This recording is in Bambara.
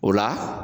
O la